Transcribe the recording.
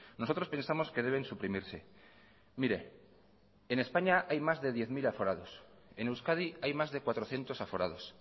nosotros pensamos que deben suprimirse en españa hay más de diez mil aforados en euskadi hay más de cuatrocientos aforados